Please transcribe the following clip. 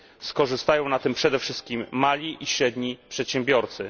Skorzystają na tym przede wszystkim mali i średni przedsiębiorcy.